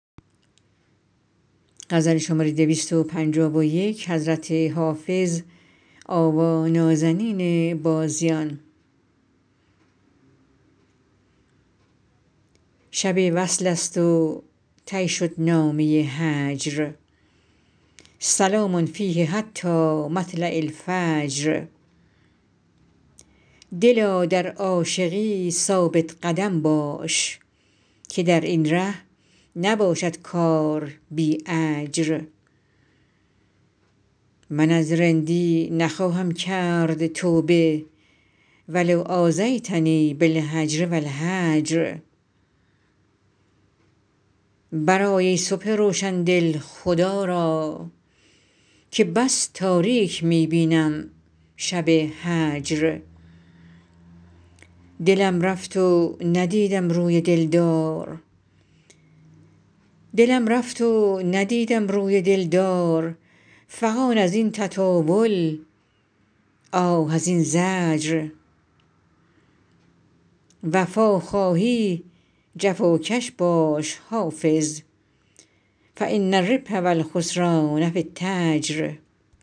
شب وصل است و طی شد نامه هجر سلام فیه حتی مطلع الفجر دلا در عاشقی ثابت قدم باش که در این ره نباشد کار بی اجر من از رندی نخواهم کرد توبه و لو آذیتنی بالهجر و الحجر برآی ای صبح روشن دل خدا را که بس تاریک می بینم شب هجر دلم رفت و ندیدم روی دل دار فغان از این تطاول آه از این زجر وفا خواهی جفاکش باش حافظ فان الربح و الخسران في التجر